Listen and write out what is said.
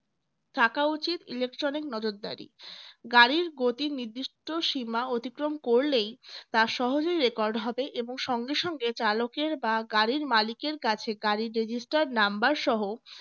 থাকা উচিত electronic নজরদারি গাড়ির গতির নির্দিষ্ট সীমা অতিক্রম করলে তা সহজেই record হবে এবং সঙ্গে সঙ্গে চালকের বা গাড়ির মালিকের কাছে গাড়ির registered number সহ